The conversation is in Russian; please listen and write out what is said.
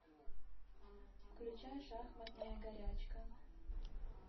включай шахматная горячка